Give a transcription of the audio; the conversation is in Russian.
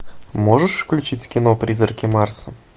можешь включить кино призраки марса